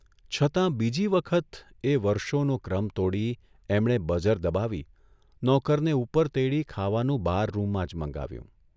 છતાં બીજી વખત એ વર્ષોનો ક્રમ તોડી એમણે બઝર દબાવી નોકરને ઊપર તેડી ખાવાનું બારરૂમમાં જ મંગાવ્યું.